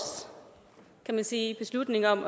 kan man sige beslutning om